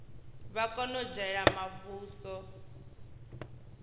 vha kona u dzhiela muvhuso